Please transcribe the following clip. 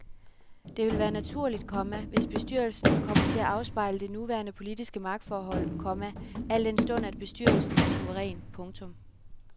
Det vil være naturligt, komma hvis bestyrelsen kommer til at afspejle det nuværende politiske magtforhold, komma al den stund at bestyrelsen er suveræn. punktum